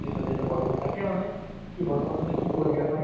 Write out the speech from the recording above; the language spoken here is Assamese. thank you দা যিহেতি আপুনি call কৰিলে বহুত দিনৰ মুৰত আৰু